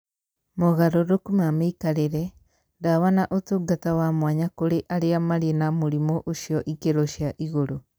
Mogarũrũku ma mĩikarĩre, ndawa na ũtungata wa mwanya kũrĩ arĩa marĩ na mũrimũ ũcio ikĩro cia igũrũ.